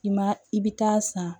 I ma i bɛ taa san